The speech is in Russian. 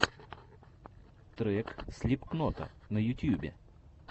трек слипкнота на ютьюбе